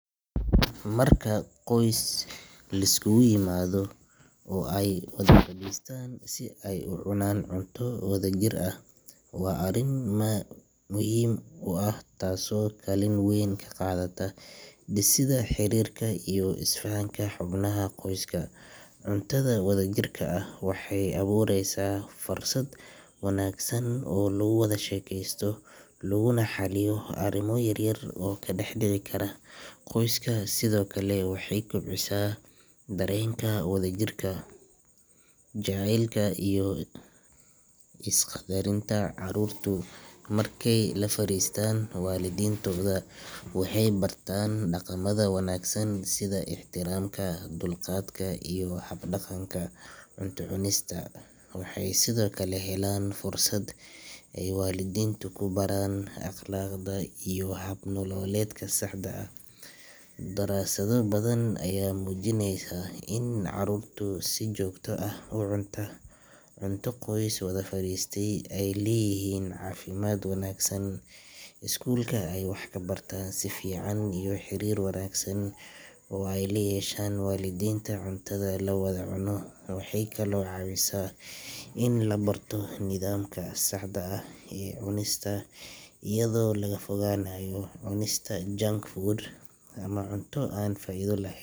marka qoys lisku gu yimado oo ay wada fadhiistaan si ay u cunaan cunto wada jir ah waa arrin aad muhiim u ah taasoo kaalin weyn ka qaadata dhisidda xiriirka iyo isfahanka xubnaha qoyska cuntada wada jirka ah waxay abuureysaa fursad wanaagsan oo lagu wada sheekaysto laguna xalliyo arrimo yaryar oo ka dhex dhici kara qoyska sidoo kale waxay kobcisaa dareenka wadajirka, jacaylka iyo is-qaddarinta carruurtu markay la fariistaan waalidiintooda waxay bartaan dhaqamada wanaagsan sida ixtiraamka, dulqaadka iyo hab-dhaqanka cunto cunista waxay kaloo helaan fursad ay waalidiintu ku baraan akhlaaqda iyo hab nololeedka saxda ah daraasado badan ayaa muujinaya in carruurta si joogto ah u cunta cunto qoys wada fadhiistay ay leeyihiin caafimaad wanaagsan, iskuulka ay wax ku bartaan si fiican iyo xiriir wanaagsan oo ay la yeeshaan waalidiinta cuntada la wada cuno waxay kaloo caawisaa in la barto nidaamka saxda ah ee cunista iyadoo laga fogaanayo cunista junk food ama cunto aan faa’iido lah.